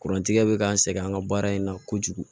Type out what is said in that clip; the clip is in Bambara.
Kurantigɛ bɛ k'an sɛgɛn an ka baara in na kojugu